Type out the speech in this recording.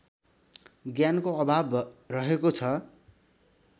ज्ञानको अभाव रहेको छ